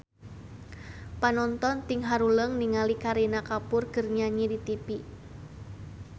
Panonton ting haruleng ningali Kareena Kapoor keur nyanyi di tipi